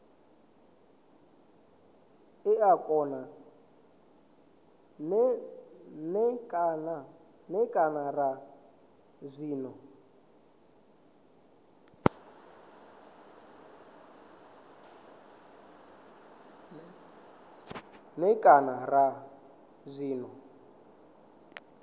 n e kana ra zwine